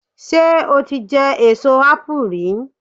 Ṣé o ti jẹ èso ápù rí?